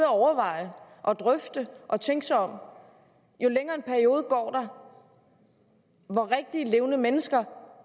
overveje og drøfte og tænke sig om jo længere en periode går der hvor rigtige levende mennesker